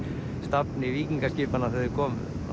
stafni víkingaskipanna þegar þau komu